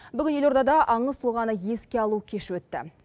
бүгін елордада аңыз тұлғаны еске алу кеші өтті